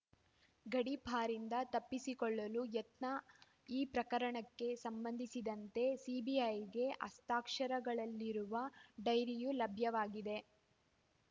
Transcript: ಗಡೀಪಾರಿಂದ ತಪ್ಪಿಸಿಕೊಳ್ಳಲು ಯತ್ನ ಈ ಪ್ರಕರಣಕ್ಕೆ ಸಂಬಂಧಿಸಿದಂತೆ ಸಿಬಿಐಗೆ ಹಸ್ತಾಕ್ಷರಗಳಿರುವ ಡೈರಿಯೂ ಲಭ್ಯವಾಗಿದೆ